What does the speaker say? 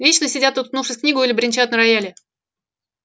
вечно сидят уткнувшись в книгу или бренчат на рояле